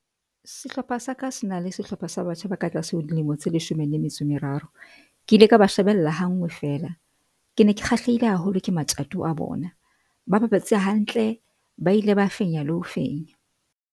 Sehlopha sa ka se na le sehlopha sa batjha ba ka tlase ho dilemo tse leshome le metso e meraro. Ke ile ka ba shebella ha nngwe fela. Ke ne ke kgahlehile haholo ke matjato a bona, ba bapetse hantle ba ile ba fenya le ho fenya.